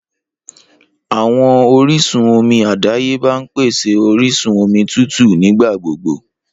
Awọn orisun omi adayeba n pese orisun omi tutu nigbagbogbo.